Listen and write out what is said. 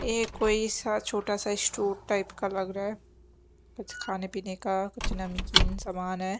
ये कोई छोटा सा स्टोर टाइप का लग रहा है कुछ खाने पीने का कुछ नमकीन सामान है।